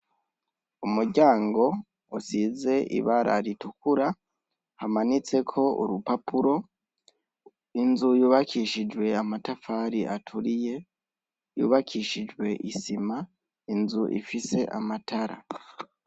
Umuryango usize ibara ritukura hamanitseko urupapuro, inzu yubakishijwe amatafari aturiye yubakishijwe isima, inzu ifise amatara.